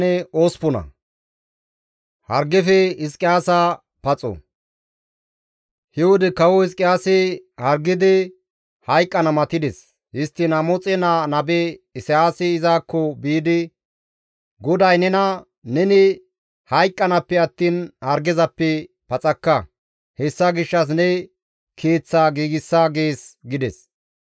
He wode Kawo Hizqiyaasi hargidi, hayqqana matides. Histtiin Amoxe naa nabe Isayaasi izakko biidi, «GODAY nena, ‹Neni hayqqanaappe attiin hargezappe paxakka; hessa gishshas ne keeththaa giigsa› gees» gides.